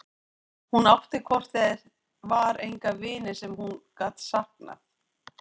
Hún átti hvort eð var enga vini sem hún gat saknað.